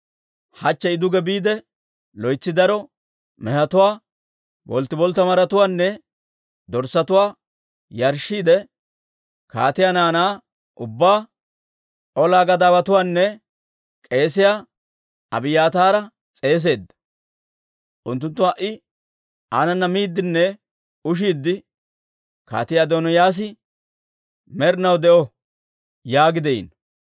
Hachche I duge biide loytsi daro mehetuwaa, bolttiboltta maratuwaanne dorssatuwaa yarshshiidde kaatiyaa naanaa ubbaa, olaa gadaawatuwaanne k'eesiyaa Abiyaataara s'eeseedda. Unttunttu ha"i aanana miiddinne ushiidde, ‹Kaatii Adooniyaas med'inaw de'o!› yaagi de'iino.